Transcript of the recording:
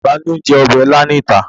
Ta ni ó ń jẹ ọbẹ̀ il níta?